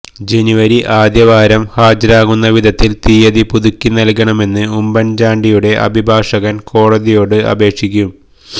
ജനുവരി ആദ്യവാരം ഹാജരാകുന്ന വിധത്തിൽ തീയ്യതി പുതുക്കി നൽകണമെന്ന് ഉമ്മൻചാണ്ടിയുടെ അഭിഭാഷകൻ കോടതിയോട് അപേക്ഷിക്കും